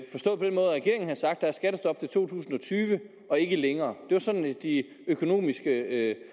regeringen har sagt er skattestop til to tusind og tyve og ikke længere det var sådan de økonomiske